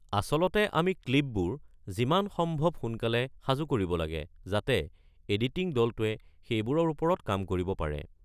আচলতে আমি ক্লিপবোৰ যিমান সম্ভৱ সোনকালে সাজু কৰিব লাগে যাতে এডিটিং দলটোৱে সেইবোৰৰ ওপৰত কাম কৰিব পাৰে।